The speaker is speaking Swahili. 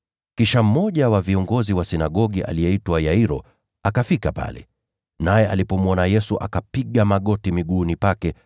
Kisha mmoja wa viongozi wa sinagogi aliyeitwa Yairo akafika pale. Naye alipomwona Yesu, akapiga magoti miguuni pake,